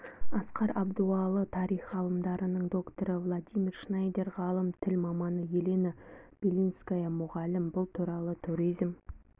асқар абдуалы тарих ғылымдарының докторы владимир шнайдер ғалым тіл маманы елена белинская мұғалім бұл туралы туризм